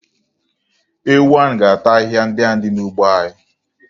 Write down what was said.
Ewu ahụ ga-ata ahịhịa ndị ahụ dị n'ugbo anyị.